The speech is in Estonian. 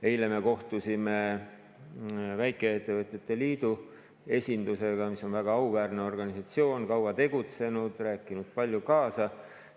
Eile me kohtusime väikeettevõtjate liidu esindusega, mis on väga auväärne organisatsioon, kaua tegutsenud, rääkinud palju kaasa.